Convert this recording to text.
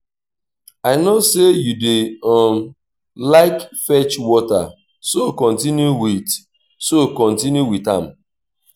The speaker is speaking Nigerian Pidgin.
i no say you dey um like fetch water so continue with so continue with am